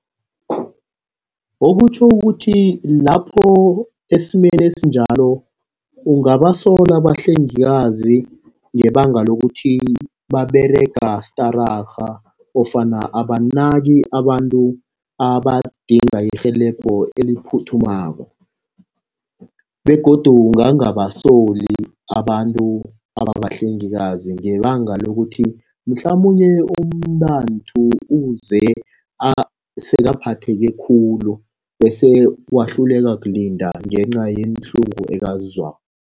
Okutjho ukuthi lapho esimeni esinjalo ungabasola abahlengikazi, ngebanga lokuthi baberega stararha ofana abanaki abantu abadinga irhelebho eliphuthumako begodu ungangabasoli abantu ababahlengikazi, ngebanga lokuthi mhlamunye umntanthu uze sekaphatheke khulu bese wahluleka kulinda ngenca yeenhlungu azizwako.